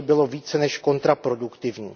To by bylo více než kontraproduktivní.